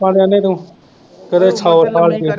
ਆਪਾ ਤੇ ਆਨੇ ਤੂੰ ਸੌ ਸਾਲ ਜੀਵੇ